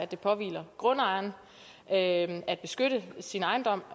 det påhviler grundejeren at beskytte sin ejendom